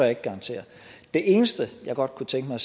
ikke garantere det eneste jeg godt kunne tænke mig